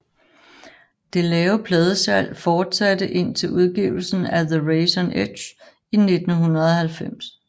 Det lave pladesalg fortsatte indtil udgivelsen af The Razors Edge i 1990